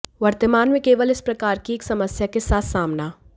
वर्तमान में केवल इस प्रकार की एक समस्या के साथ सामना